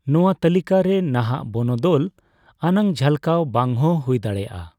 ᱱᱚᱣᱟ ᱛᱟᱹᱞᱤᱠᱟ ᱨᱮ ᱱᱟᱦᱟᱜ ᱵᱚᱱᱚᱫᱚᱞ ᱟᱱᱟᱜ ᱡᱷᱟᱞᱠᱟᱣ ᱵᱟᱝᱦᱚᱸ ᱦᱩᱭ ᱫᱟᱲᱮᱭᱟᱜᱼᱟ ᱾